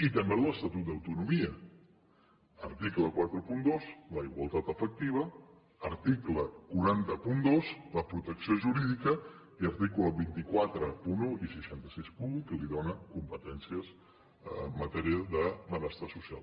i també l’estatut d’autonomia article quaranta dos la igualtat efectiva article quatre cents i dos la protecció jurídica i article dos cents i quaranta un i sis cents i seixanta un que li dóna competències en matèria de benestar social